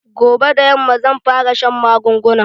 Gobe da yamma zan fara shan magungunan